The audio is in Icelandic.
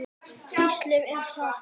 Hvíslið er satt.